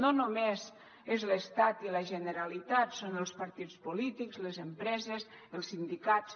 no només són l’estat i la generalitat són els partits polítics les empreses els sindicats